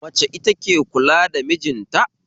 Mace ita ke kula da mijinta